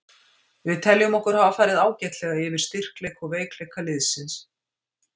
Við teljum okkur hafa farið ágætlega yfir styrkleik og veikleika liðsins.